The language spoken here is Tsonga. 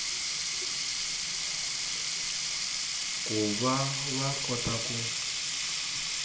ku va va kota ku